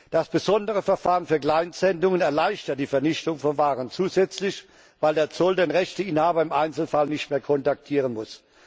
Das besondere Verfahren für Kleinsendungen erleichtert die Vernichtung von Waren zusätzlich, weil der Zoll den Rechteinhaber im Einzelfall nicht mehr kontaktieren muss.